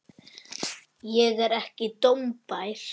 Ég er ekki dómbær.